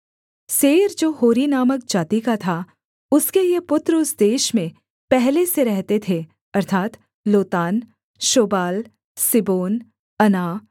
Seir जो होरी नामक जाति का था उसके ये पुत्र उस देश में पहले से रहते थे अर्थात् लोतान शोबाल सिबोन अना